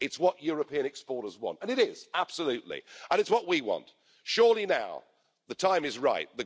It's what European exporters want, and it is, absolutely, and it's what we want. Surely now the time is right.